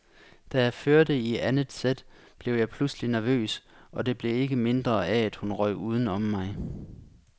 Da jeg førte i anden sæt, blev jeg pludselig nervøs, og det blev ikke mindre af at hun røg uden om mig.